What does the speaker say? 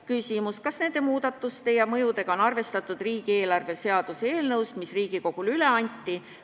Küsimus: kas nende muudatuste ja mõjudega on arvestatud tuleva aasta riigieelarve seaduse eelnõus, mis Riigikogule üle anti?